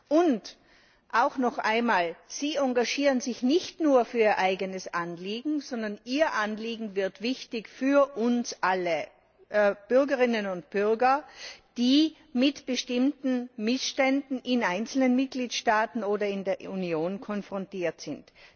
Und auch noch einmal Sie engagieren sich nicht nur für ihr eigenes Anliegen, sondern ihr Anliegen wird wichtig für alle Bürgerinnen und Bürger, die mit bestimmten Missständen in einzelnen Mitgliedstaaten oder in der Union konfrontiert sind.